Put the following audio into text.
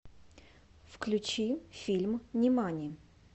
включи фильм нимани